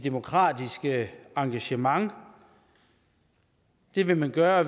demokratiske engagement det vil man gøre